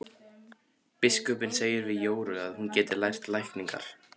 Biskupinn segir við Jóru að hún geti lært lækningar.